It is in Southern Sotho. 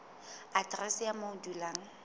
aterese ya moo o dulang